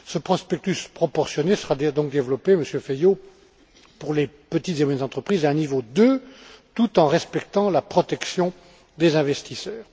Ce prospectus proportionné sera donc développé, Monsieur Feio, pour les petites et moyennes entreprises d'un niveau 2 tout en respectant la protection des investisseurs.